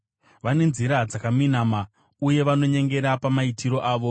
vane nzira dzakaminama uye vanonyengera pamaitiro avo.